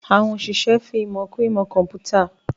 Àwọn òṣìṣẹ́ ń fi ìmọ̀ kún ìmọ̀ kọ̀ḿpútà